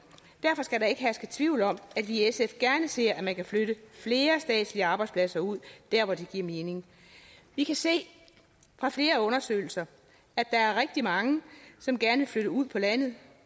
derfor skal der ikke herske tvivl om at vi i sf gerne ser at man kan flytte flere statslige arbejdspladser ud der hvor det giver mening vi kan se fra flere undersøgelser at der er rigtig mange som gerne vil flytte ud på landet